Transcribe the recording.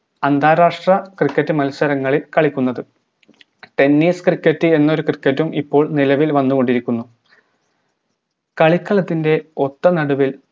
അന്താരാഷ്ര cricket മത്സരങ്ങളിൽ കളിക്കുന്നത് tennis cricket എന്നൊരു cricket ഉം ഇപ്പോൾ നിലവിൽ വന്നുകൊണ്ടിരിക്കുന്നു കളിക്കളത്തിന്റെ ഒത്തനടുവിൽ